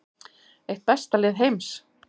Eitt besta lið heims